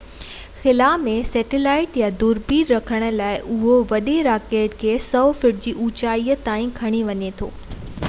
خلا ۾ سيٽلائيٽ يا دوربيني رکڻ لاءِ اهو وڏي راڪيٽ کي 100 فٽ جي اوچائي تائين کڻي وڃي ٿو